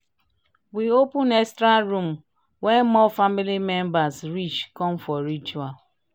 we open extra room when more family members reach come for ritual."